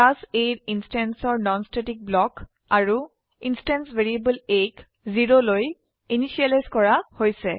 class A ইনস্ট্যান্সৰ non static block আৰু instance variable A 0 initialise কৰা হৈছে